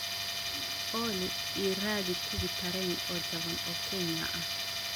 Olly, ii raadi tigidh tareen oo jaban oo Kenya ah